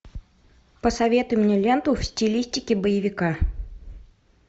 посоветуй мне ленту в стилистике боевика